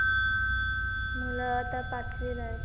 मुलं आता पाचवीला आहेत.